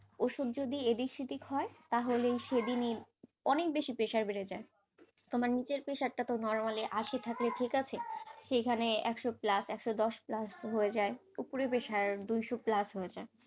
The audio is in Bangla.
ওষুধ যদি এদিক ওদিক হয় তাহলে সেদিনই অনেক বেশি pressure বেড়ে যায়, আমার নিজের pressure টা normally আশি থাকলে ঠিক আছে সেখানে একশ plus একশ দশ plus হয়ে যায় উপরের pressure দুইশ plus হয়ে যায়.